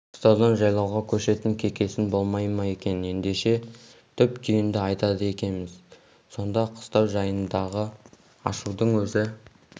қыстаудан жайлауға көшетін кекесін болмай ма екен ендеше түп-түйінді айтады екеміз сонда қыстау жайындағы ашудың өзі